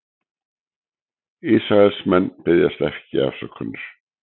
Ísraelsmenn biðjast ekki afsökunar